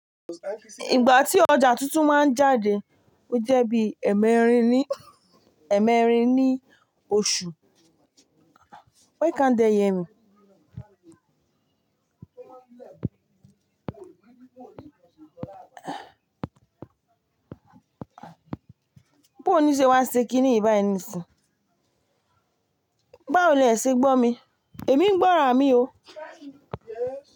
Ìgbà tí ọjà tuntun máa ń jáde ó jẹ́ bí ẹ̀mẹrin ní, ẹ̀mẹrin ní oṣù. Why can't they hear me? Bó ní ṣe wá ṣe kí nìyi báyi ni sìn? Bá wo lè ṣe gbọ́ mi? Èmi ń gbọ́ràn mi o.